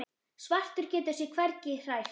Svartur getur sig hvergi hrært.